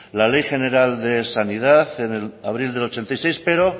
la ley general de sanidad en abril del ochenta y seis pero